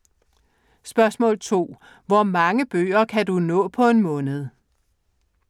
2) Hvor mange bøger kan du nå på en måned?